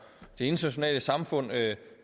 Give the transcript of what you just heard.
det internationale samfund